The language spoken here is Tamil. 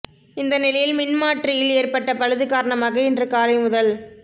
இந்த நிலையில் மின் மாற்றியில் ஏற்பட்ட பழுது காரணமாக இன்று காலை முதல்